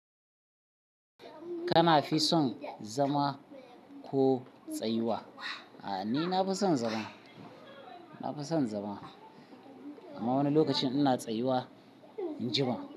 Kana fi son zama ko tsayuwa? A'a, ni nafi son zama. Nafison zama amma wani lokacin ina tsayuwa in ji ba.